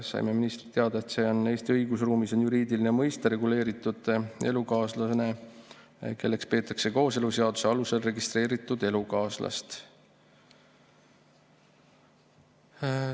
Saime ministrilt teada, et Eesti õigusruumis on juriidiline mõiste "registreeritud elukaaslane", kelleks peetakse kooseluseaduse alusel registreeritud elukaaslast.